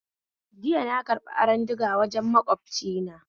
Jiya na karbi aron diga wajen makwabcina